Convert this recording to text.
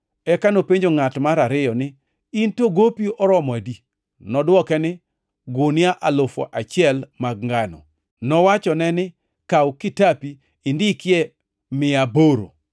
“Eka nopenjo ngʼat mar ariyo ni, ‘In to, gopi oromo adi?’ “Nodwoke ni, ‘Gunia alufu achiel mag ngano.’ “Nowachone ni, ‘Kaw kitapini, indike ni mia aboro.’